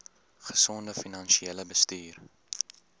gesonde finansiële bestuur